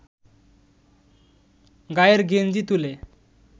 গায়ের গেঞ্জি তুলে